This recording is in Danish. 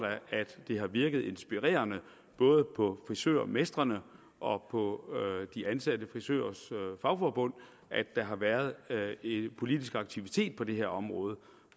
at det har virket inspirerende både på frisørmestrene og på de ansatte frisørers fagforbund at der har været en politisk aktivitet på det område